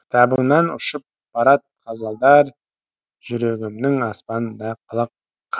кітабыңнан ұшып барад ғазалдар жүрегімнің аспанында